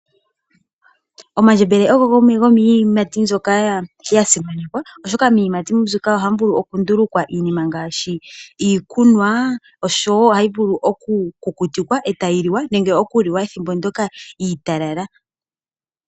Omandjembele ogo gamwe gomiiyimati mbyoka ya simanekwa, oshoka miiyimati mbyika ohamu vulu oku ndulukwa iinima ngaashi iikunwa oshowo ohayi vulu oku kukutikwa eteyi liwa. Nenge oku liwa ethimbo ndyoka iitalala.